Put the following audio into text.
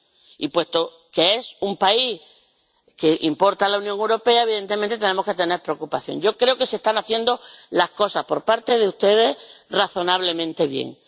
Y, puesto que es un país del que importa la Unión Europea, evidentemente, tenemos que tener preocupación. Yo creo que se están haciendo las cosas por parte de ustedes razonablemente bien.